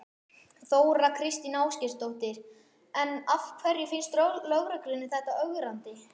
Þóra Kristín Ásgeirsdóttir: En af hverju finnst lögreglunni þetta ögrandi?